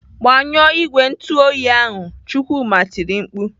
"Gbanyụọ igwe ntụoyi ahụ!" Chukwuma tiri mkpu.